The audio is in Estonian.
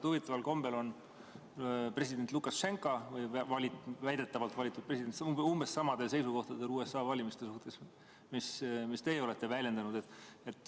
Huvitaval kombel on president või väidetavalt valitud president Lukašenka umbes samadel seisukohtadel USA valimiste suhtes, nagu teie olete väljendanud.